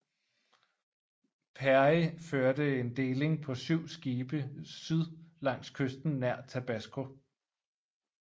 Perry førte en deling på 7 skibe syd langs kysten nær Tabasco